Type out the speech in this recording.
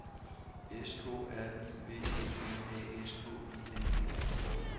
S K R I V E M A S K I N E